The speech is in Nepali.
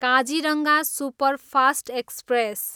Kaziranga superfast express